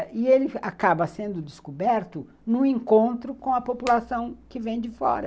E ele acaba sendo descoberto num encontro com a população que vem de fora.